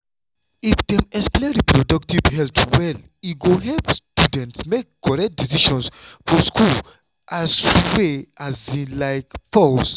if dem explain reproductive health well e go help students make correct decision for school ah i swear um like pause.